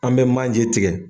An bɛ manje tigɛ